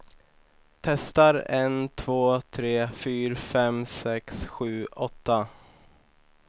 Testar en två tre fyra fem sex sju åtta.